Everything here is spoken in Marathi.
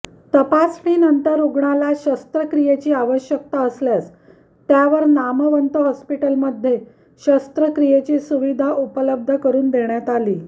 तपासणी नंतर रुग्णाला शस्त्रक्रियेची आवश्यकता असल्यास त्यावर नामवंत हॉस्पिटलमध्ये शस्त्रक्रियेची सुविधा उपलब्ध करून देण्यात आली